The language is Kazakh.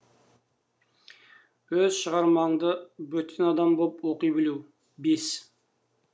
өз шығармаңды бөтен адам боп оқи білу бес